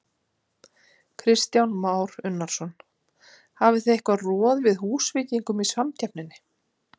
Kristján Már Unnarsson: Hafið þið eitthvað roð við Húsvíkingum í samkeppninni?